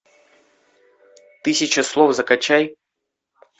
тысяча слов закачай